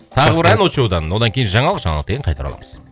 тағы бір ән очоудан одан кейін жаңалық жаңалықтан кейін қайта ораламыз